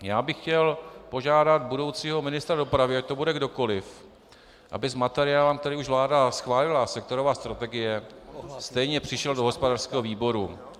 Já bych chtěl požádat budoucího ministra dopravy, ať to bude kdokoliv, aby s materiálem, který už vláda schválila, sektorová strategie, stejně přišel do hospodářského výboru.